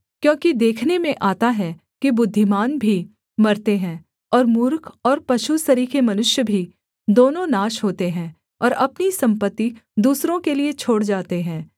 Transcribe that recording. क्योंकि देखने में आता है कि बुद्धिमान भी मरते हैं और मूर्ख और पशु सरीखे मनुष्य भी दोनों नाश होते हैं और अपनी सम्पत्ति दूसरों के लिये छोड़ जाते हैं